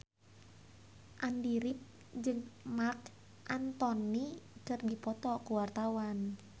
Andy rif jeung Marc Anthony keur dipoto ku wartawan